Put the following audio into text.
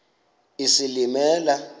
isilimela